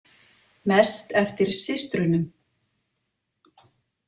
Mest eftir systrunum.